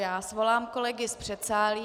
Já svolám kolegy z předsálí.